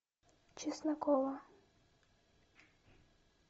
чеснокова